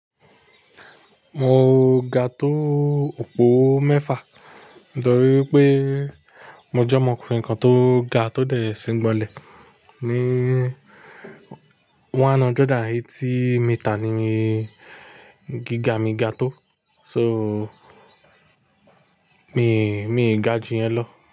Mo ga tó òpó mẹ́fà. Nítorí pé mo jẹ́ ọmọkùnrin kan tó ga, tó dẹ̀ sín gbọnlẹ̀. Ni one hundred and eighty meter ni gíga mi ga tó. So, mi, mi ga jù yẹn lọ.